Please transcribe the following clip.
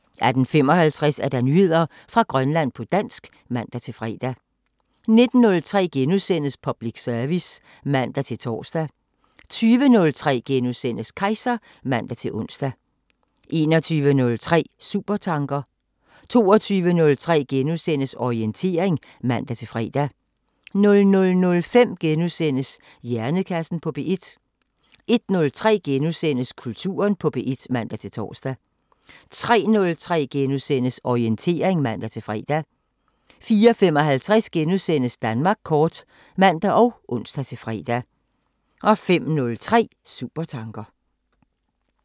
18:55: Nyheder fra Grønland på dansk (man-fre) 19:03: Public service *(man-tor) 20:03: Kejser *(man-ons) 21:03: Supertanker 22:03: Orientering *(man-fre) 00:05: Hjernekassen på P1 * 01:03: Kulturen på P1 *(man-tor) 03:03: Orientering *(man-fre) 04:55: Danmark kort *(man og ons-fre) 05:03: Supertanker